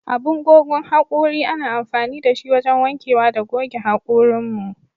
Abin gogan hakuri ana amfani da shi wajan wanke wa da goge hakurin mu.